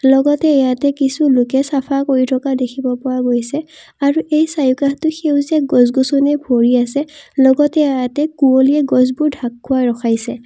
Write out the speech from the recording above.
লগতে ইয়াতে কিছু লোকে চাফা কৰি থকা দেখিব পোৱা গৈছে আৰু এই চাৰিওকাষটো গছ গছনিৰে ভৰি আছে লগতে ইয়াতে কুঁৱলীয়ে গছবোৰ ঢাক খুৱাই ৰখাইছে।